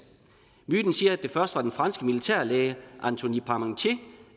myten siger at det først var den franske militærlæge antonie parmentier